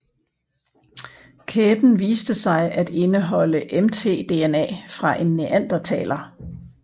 Kæben viste sig at indeholde mtDNA fra en neandertaler